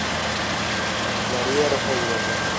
мария рафаиловна